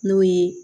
N'o ye